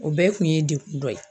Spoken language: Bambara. O bɛɛ kun ye degun dɔ ye.